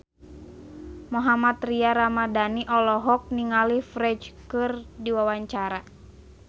Mohammad Tria Ramadhani olohok ningali Ferdge keur diwawancara